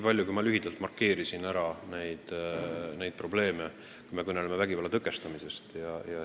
Markeerin lühidalt need probleemid, mida me peame silmas, kui kõneleme vägivalla tõkestamisest.